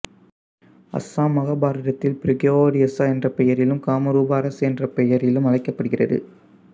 அசாம் மகாபாரதத்தில் பிரகியோதிசா என்ற பெயரிலும் காமரூபா அரசு என்ற பெயரிலும் அழைக்கப் படுகிறது